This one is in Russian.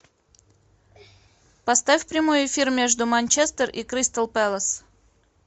поставь прямой эфир между манчестер и кристал пэлас